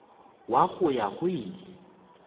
wa go ya go ile